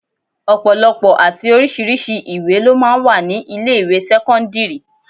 Ọ̀pọ̀lọpọ̀ àti oríṣiríṣi ìwé lọ máa ń wà ní ilé ìwé sẹ́kọ́ńdírì.